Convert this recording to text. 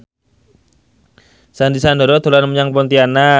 Sandy Sandoro dolan menyang Pontianak